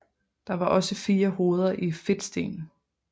Der var også fire hoveder i fedtsten